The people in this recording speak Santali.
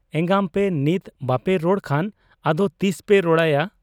ᱮᱸᱜᱟᱢᱯᱮ ᱱᱤᱛ ᱵᱟᱯᱮ ᱨᱚᱲ ᱠᱷᱟᱱ ᱟᱫᱚ ᱛᱤᱥᱯᱮ ᱨᱚᱲᱟᱭᱟ ?